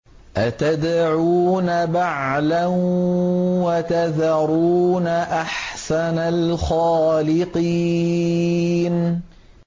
أَتَدْعُونَ بَعْلًا وَتَذَرُونَ أَحْسَنَ الْخَالِقِينَ